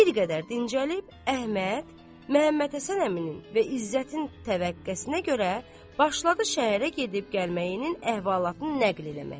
Bir qədər dincəlib Əhməd Məmmədhəsən əmisinin və İzzətin təvəqqəsinə görə başladı şəhərə gedib-gəlməyinin əhvalatını nəql eləməyə.